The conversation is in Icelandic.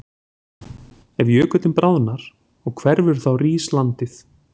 Ef jökullinn bráðnar og hverfur þá rís landið.